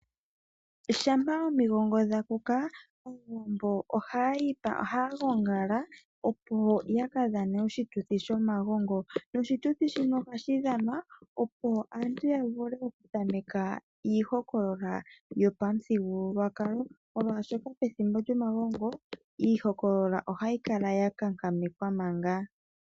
Shampa omigongo dha kuka Aawambo ohaya gongala, opo ya ka dhane oshituthi shomagongo noshituthi shino ohashi dhanwa, opo aantu ya vule oku tameka iihokolola yopamuthigululwakalo, molwaashoka pethimbo lyomagongo iihokolola ohayi kala ya kankamekwa manga.